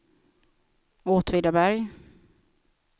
Åtvidaberg